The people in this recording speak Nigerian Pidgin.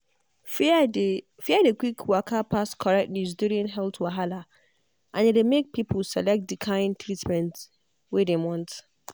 fear dey fear dey quick waka pass correct news during health wahala and e dey make pipo select di kain treatment wey dem want.